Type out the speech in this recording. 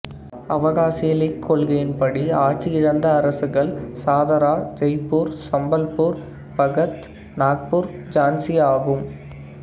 அவகாசியிலிக் கொள்கையின்படி ஆட்சி இழந்த அரசுகள் சதாரா ஜெய்பூர் சம்பல்பூர் பகத் நாக்பூர் ஜான்சி ஆகும்